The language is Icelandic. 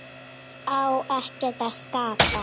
Á ekkert að skapa?